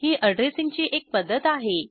ही अॅड्रेसिंगची एक पध्दत आहे